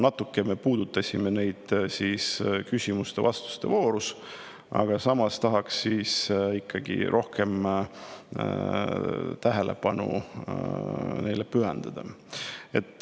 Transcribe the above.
Natuke me puudutasime neid küsimuste ja vastuste voorus, aga tahaks neile ikkagi rohkem tähelepanu pühendada.